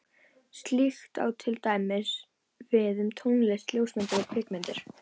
Slíkt á til dæmis við um tónlist, ljósmyndir og kvikmyndir.